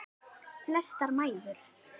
Flestar mæður.